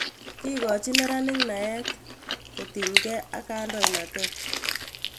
Kikochin meranik naet kotiny ke ak kandoinatet.